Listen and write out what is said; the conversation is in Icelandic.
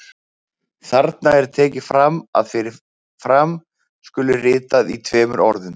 Þarna er tekið fram að fyrir fram skuli ritað í tveimur orðum.